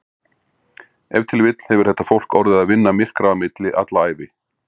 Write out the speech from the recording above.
Ef til vill hefur þetta fólk orðið að vinna myrkra á milli alla ævi.